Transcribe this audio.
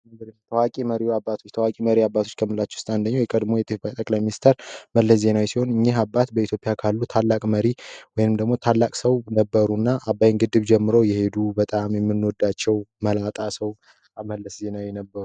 ታዋቂ መሪ አባቶች ታዋቂ መሪ አባቶች ከምንላቸው ውስጥ የቀድሞው የኢትዮጵያ ጠቅላይ ሚኒስትር መለስ ዜናዊ ሲሆን እኒህ አባት በኢትዮጵያ ውስጥ ካሉ ታላቅ አባት ወይም ደግሞ ታላቅ ሰው ነበሩ እና አባይን ጀምረው የሄዱ በጣም የምንወዳቸው መላጣ ሰው መለስ ዜናዊ ነበሩ።